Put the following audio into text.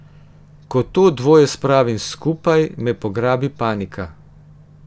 Ko to dvoje spravim skupaj, me pograbi panika.